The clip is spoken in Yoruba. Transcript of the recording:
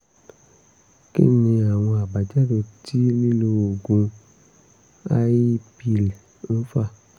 kí ni àwọn àbájáde tí lílo oògùn i-pill ń fà?